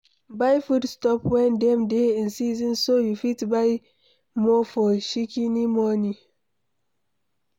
Buy food stuff when dem dey in season so you fit by more for Shikini money